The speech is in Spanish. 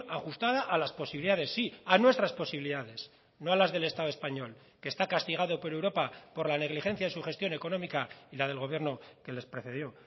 ajustada a las posibilidades sí a nuestras posibilidades no a las del estado español que está castigado por europa por la negligencia de su gestión económica y la del gobierno que les precedió